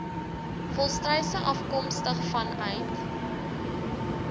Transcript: volstruise afkomstig vanuit